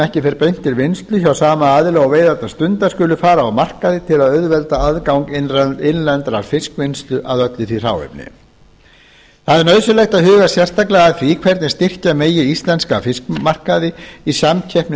ekki fer beint til vinnslu hjá sama aðila og veiðarnar stundar skuli fara á markað til að auðvelda aðgang innlendrar fiskvinnslu að öllu því hráefni það er nauðsynlegt að huga sérstaklega að því hvernig styrkja megi íslenska fiskmarkaði í samkeppni